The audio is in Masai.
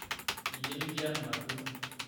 iyie likiarr matua